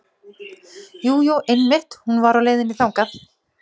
Jú, jú einmitt hún var á leiðinni þangað.